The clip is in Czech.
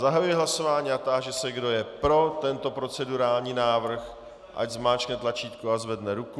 Zahajuji hlasování a táži se, kdo je pro tento procedurální návrh, ať zmáčkne tlačítko a zvedne ruku.